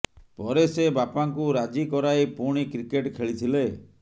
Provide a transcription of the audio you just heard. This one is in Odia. ପରେ ସେ ବାପାଙ୍କୁ ରାଜି କରାଇ ପୁଣି କ୍ରିକେଟ ଖେଳିଥିଲେ